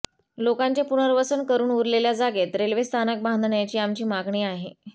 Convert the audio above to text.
लोकांचे पुनर्वसन करून उरलेल्या जागेत रेल्वे स्थानक बांधण्याची आमची मागणी आहे